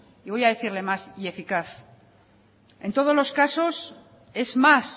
voy a decirle más y eficaz en todos los caso es más